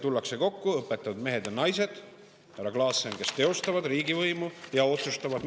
Tullakse kokku – õpetatud mehed ja naised, kes teostavad riigivõimu, tulevad kokku ja otsustavad, härra Klassen.